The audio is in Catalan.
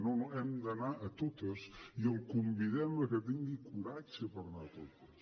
no no hem d’anar a totes i el convidem a que tingui coratge per anar a totes